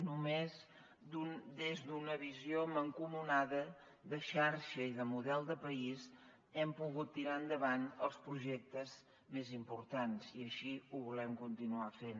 només des d’una visió mancomunada de xarxa i de model de país hem pogut tirar endavant els projectes més importants i així ho volem continuar fent